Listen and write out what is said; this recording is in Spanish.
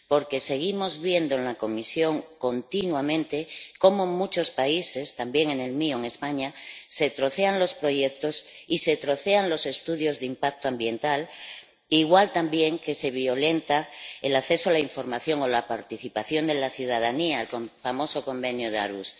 Porque seguimos viendo continuamente en la comisión cómo en muchos países, también en el mío, en España, se trocean los proyectos y se trocean los estudios de impacto ambiental igual que se violenta también el acceso a la información o la participación de la ciudadanía —como el famoso Convenio de Aarhus—.